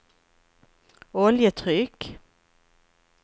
oljetryck